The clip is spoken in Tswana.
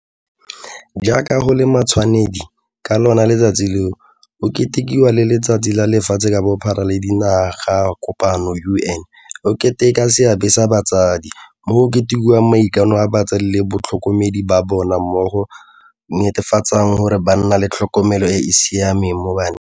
Jaaka go le matshwanedi, ka lona letsatsi leo, go ketekiwagape le Letsatsi la Lefatshe ka Bophara la Dinaga kopano UN go Keteka Seabe sa Batsadi, mo go ketekiwang maikano a batsadi le batlhokomedi ba bana mo go netefatseng gore ba nna le tlhokomelo e e siameng mo baneng.